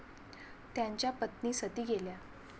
त्यांच्या पत्नी सती गेल्या.